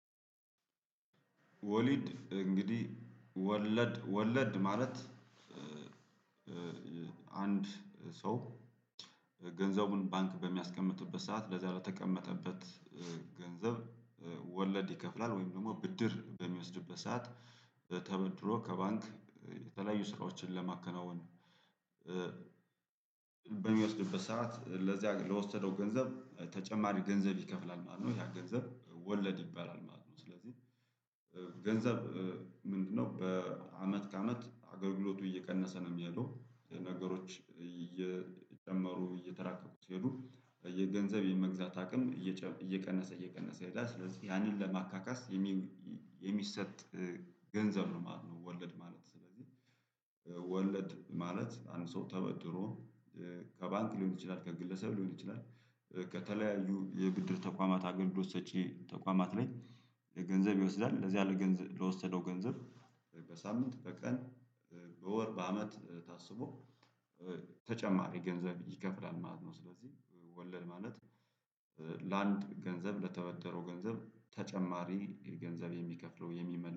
ወሊድ እንግዲህ ወለድ ወለድ ማለት። አንድ ሰው ገንዘቡን ባንክ በሚያስቀምጥበት ሰዓት ለዚህ ለተቀመጠበት ገንዘብ ወለድ ይከፍላል ወይም ደግሞ ብድር በሚወስድበት ሰዓት ተበድሮ ከባንክ የተለያዩ ስራዎችን ለማከናወን። በሚወስድበት ሰዓት ለዚያ ለወሰደው ገንዘብ ተጨማሪ ገንዘብ ይከፍላል ማለት ነው ያ ገንዘብ ወለድ ይባላል ማለት ነው። ስለዚህ ገንዘብ ምንድነው? በአመት ከአመት አገልግሎቱ እየቀነሰ ነው የሚሄደው ነገሮች እየጨመሩ እየተራቀቁ ስሄዱ የገንዘብ የመግዛት አቅም እየቀነሰ እየቀነሰ ይሄዳል ስለዚህ ያንን ለማካካስ የሚሰጥ ገንዘብ ነው ማለት ነው። ወለድ ማለት ስለዚህ ወለድ ማለት አንድ ሰው ተበድሮ ከባንክ ሊሆን ይችላል ከግለሰብ ሊሆን ይችላል። ከተለያዩ የብድር ተቋማት አገልግሎት ሰጪ ተቋማት ላይ ገንዘብ ይወስዳል ለዚያ ለገንዘብ ለወሰደው ገንዘብ በሳምንት በቀን በወር በአመት ታስቦ ተጨማሪ ገንዘብ ይከፍላል ማለት ነው። ስለዚህ ወለድ ማለት ለአንድ ገንዘብ ለተበደረው ገንዘብ ተጨማሪ የገንዘብ የሚከፍለው የሚመልሰ